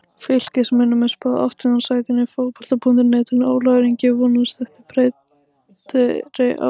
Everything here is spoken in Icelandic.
Fylkismönnum er spáð áttunda sætinu á Fótbolta.net en Ólafur Ingi vonast eftir betri árangri.